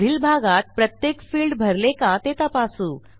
पुढील भागात प्रत्येक फिल्ड भरले का ते तपासू